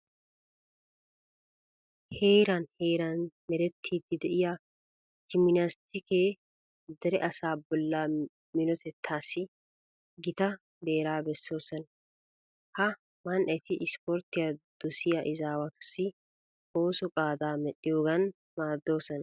Heearn heeran merettiiddi de'iya jiminaaziyemeti dere asaa bollaa minotettassi gita beeraa bessoosona. Ha Man"eti ispporttiya dosiya izaawatussi oosuwa qaadaa medhdhiyogan maaddoosona.